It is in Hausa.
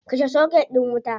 Kashe soket din wuta.